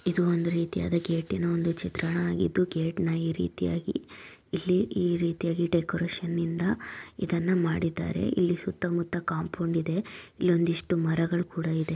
ಇದು ಒಂದು ರೀತಿಯಾದ ಗೇಟ್ ಇನ ಒಂದು ಚಿತ್ರಣವಾಗಿದ್ದು ಗೇಟ್ ನ ಈ ರೀತಿಯಾಗಿ ಇಲ್ಲಿ ಈ ರೀತಿಯಾಗಿ ಡೆಕೋರೇಷನ್ ನಿಂದ ಇದನ್ನ ಮಾಡಿದ್ದಾರೆ ಇಲ್ಲಿ ಸುತ್ತ ಮುತ್ತ ಕಾಂಪೌಂಡ್ ಇದೆ ಇಲ್ಲೊಂದ್ ಇಷ್ಟು ಮರಗಳು ಕೂಡ ಇದೆ.